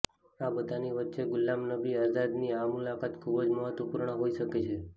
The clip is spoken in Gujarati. આ બધાની વચ્ચે ગુલામ નબી આઝાદની આ મુલાકાત ખૂબ જ મહત્વપૂર્ણ હોઇ શકે છે